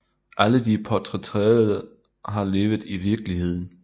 Alle de portrætterede har levet i virkeligheden